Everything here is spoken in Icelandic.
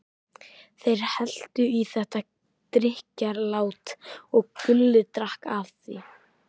Þeir helltu í þetta drykkjarílát og Gulli drakk af því.